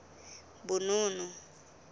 bonono